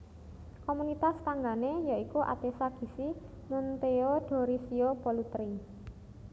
Komunitas tanggané ya iku Atessa Gissi Monteodorisio Pollutri